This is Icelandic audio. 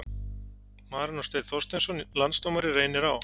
Marinó Steinn Þorsteinsson Landsdómari Reynir Á